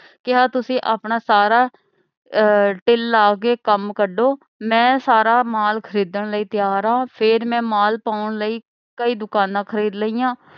ਕਿਹਾ ਤੁਸੀ ਆਪਣਾ ਸਾਰਾ ਆਹ ਦਿਲ ਲਾ ਕੇ ਕੰਮ ਕੱਢੋ। ਮੈਂ ਸਾਰਾ ਮਾਲ ਖਰੀਦਣ ਲਈ ਤਿਆਰ ਆਂ। ਫੇਰ ਮੈਂ ਮਾਲ ਪਾਉਣ ਲਈ ਕਈ ਦੁਕਾਨਾਂ ਖਰੀਦ ਲਈਆਂ।